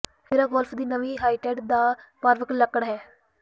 Miura golf ਦੀ ਨਵੀਂ ਹਾਇਟੇਟ ਦਾ ਫਾਰਵੱਂਗ ਲੱਕੜ ਹੈ